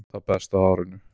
Það besta á árinu